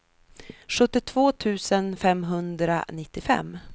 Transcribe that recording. sjuttiotvå tusen femhundranittiofem